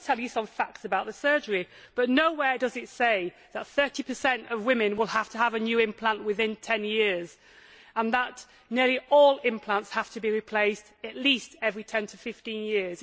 It does give you some facts about the surgery, but nowhere does it say that 30 of women will have to have a new implant within 10 years, and that nearly all implants have to be replaced at least every 10 to 15 years.